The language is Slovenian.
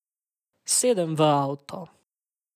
Sedem v avto.